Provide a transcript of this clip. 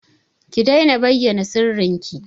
Ki daina bayyana sirrinki!